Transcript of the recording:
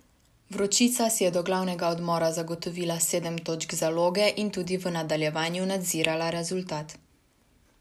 Vročica si je do glavnega odmora zagotovila sedem točk zaloge in tudi v nadaljevanju nadzirala rezultat.